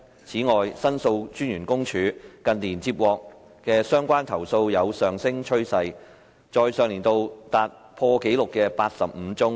此外，申訴專員公署近年接獲的相關投訴有上升趨勢，在上年度達破紀錄的85宗。